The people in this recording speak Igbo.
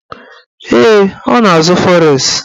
Ee, ọ na-azụ fọres